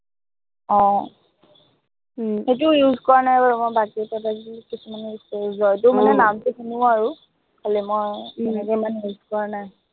আহ উম সেইটো use কৰা নাই বাৰু মই, বাকী product বোৰ কিছুমান use কৰিছো, জয়টো মানে নামটো শুনো আৰু, খালি মই তেনেকে ইমান use কৰা নাই।